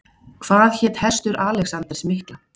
Hvað hét hestur Alexanders mikla?